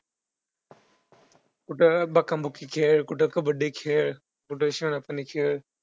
कुठं बुक्काबुक्की खेळ, कुठं कबड्डी खेळ, कुठं शिवनापाणी खेळ.